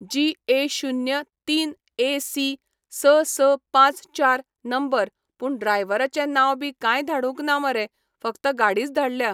जी ए शुन्य तीन ए सी स स पांच चार नंबर पूण ड्रायव्हराचें नांव बी कांय धाडूंक ना मरे फक्त गाडीच धाडल्या